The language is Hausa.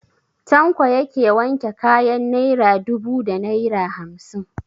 Tanko yake wanke kayan naira dubu da naira hamsin?